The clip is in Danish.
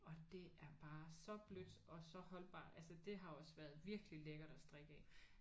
Og det er bare så blødt og så holdbart. Altså det har også været virkelig lækkert at strikke af